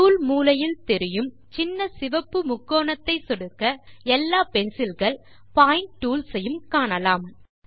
tool மூலையில் தெரியும் சின்ன சிவப்பு முக்கோணத்தை சொடுக்க எல்லாப்பென்சில்கள் பாயிண்ட் டூல்ஸ் ஐயும் காணலாம்